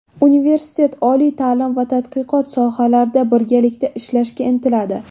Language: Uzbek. Universitet oliy ta’lim va tadqiqot sohalarida birgalikda ishlashga intiladi.